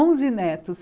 Onze netos.